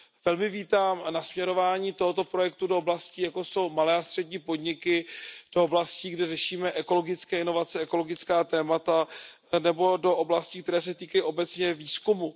Velmi vítám nasměřování tohoto projektu do oblastí, jako jsou malé a střední podniky, do oblastí, kde řešíme ekologické inovace, ekologická témata, nebo do oblastí, které se týkají obecně výzkumu.